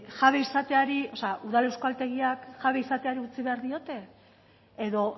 jabe izateari o sea udal euskaltegiak jabe izateari utzi behar diote edo